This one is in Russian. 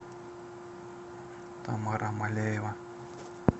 тамара маляева